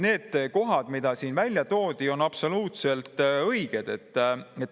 Need kohad, mida siin välja toodi, on absoluutselt õiged.